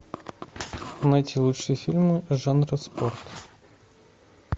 найти лучшие фильмы жанра спорт